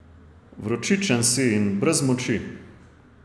Vročičen si in brez moči.